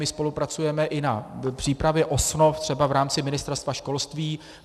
My spolupracujeme i na přípravě osnov třeba v rámci Ministerstva školství.